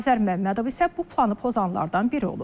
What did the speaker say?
Azər Məmmədov isə bu planı pozanlardan biri olub.